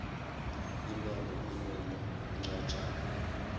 imemo imemo incwajana